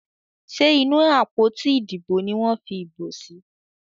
Ṣe inú àpótí Ìdìbò ní wón fí ibo sí?